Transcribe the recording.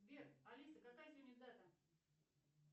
сбер алиса какая сегодня дата